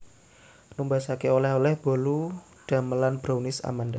Numbasaken oleh oleh bolu damelan Brownies Amanda